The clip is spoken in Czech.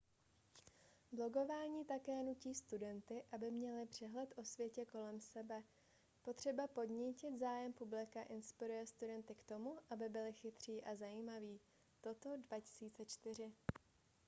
blogování také nutí studenty aby měli přehled o světě kolem sebe . potřeba podnítit zájem publika inspiruje studenty k tomu aby byli chytří a zajímaví toto 2004